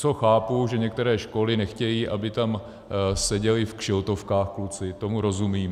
Co chápu, že některé školy nechtějí, aby tam seděli v kšiltovkách kluci, tomu rozumím.